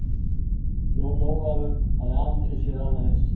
Jón Ólafur hafði aldrei séð annað eins.